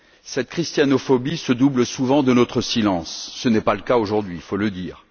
Cette christianophobie se double souvent de notre silence, mais ce n'est pas le cas aujourd'hui il faut le dire.